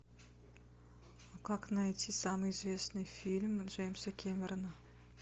как найти самый известный фильм джеймса кэмерона